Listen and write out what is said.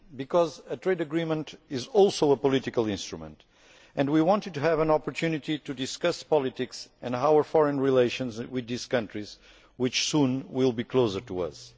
Because a trade agreement is also a political instrument and we wanted to have an opportunity to discuss politics and our foreign relations with these countries which soon will be closer to us.